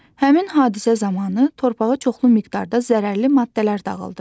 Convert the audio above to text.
Həmin hadisə zamanı torpağa çoxlu miqdarda zərərli maddələr dağıldı.